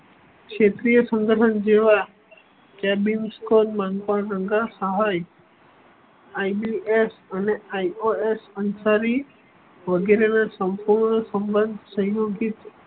ક્ષેત્રીય સંગઠન જેવા કેબિન IPS અને ios અંસરી વગેરે ને સંપૂર્ણ સંબધ સંયોગી